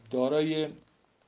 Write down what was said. дороги